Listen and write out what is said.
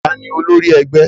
tani olórí ẹgbẹ́?